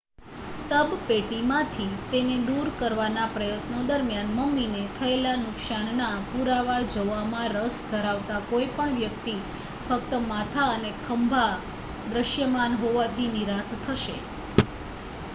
શબપેટીમાંથી તેને દૂર કરવાના પ્રયત્નો દરમિયાન મમ્મીને થયેલા નુકસાનના પુરાવા જોવામાં રસ ધરાવતા કોઈપણ વ્યક્તિ ફક્ત માથા અને ખભા દૃશ્યમાન હોવાથી નિરાશ થશે